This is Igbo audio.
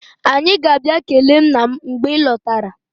Anyị ga-abịa kelee nna m mgbe ị lọtara.